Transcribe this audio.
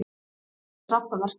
Þetta er kraftaverk.